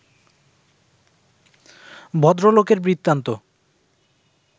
ভদ্রলোকের বৃত্তান্ত